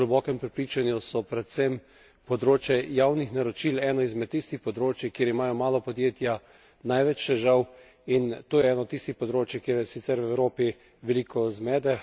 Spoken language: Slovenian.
Po mojem globokem prepričanju so predvsem področje javnih naročil eno izmed tistih področij, kjer imajo mala podjetja največ težav in to je eno od tistih področij, kjer je sicer v Evropi veliko zmede.